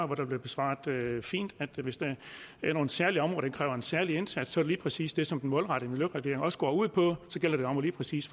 hvor der blev svaret fint at hvis der er nogle særlige områder der kræver en særlig indsats så lige præcis det som den målrettede regulering også går ud på så gælder det om lige præcis